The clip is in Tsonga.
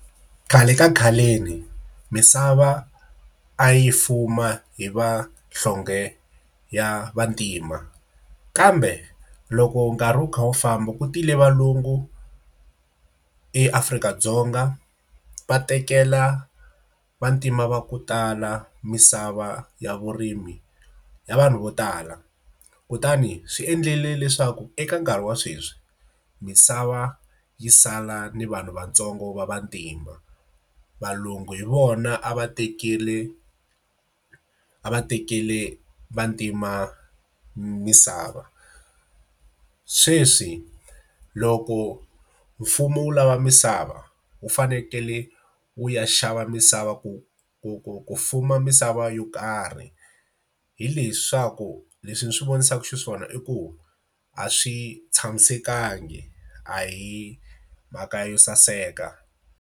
Khale ka khaleni misava a yi fuma hi va nhlonge ya vantima, kambe loko nkarhi wu kha wu famba ku tile valungu eAfrika-Dzonga, va tekela vantima va ku tala misava ya vurimi ya vanhu vo tala. Kutani swi endlile leswaku eka nkarhi wa sweswi, misava yi sala ni vanhu vantsongo va va vantima. Valungu hi vona a va tekele a va tekele vantima misava. Sweswi loko mfumo wu lava misava, wu fanekele wu ya xava misava ku ku ku ku fuma misava yo karhi. Hileswaku leswi ni swi vonisaka xiswona i ku a swi tshamisekanga a hi mhaka yo saseka.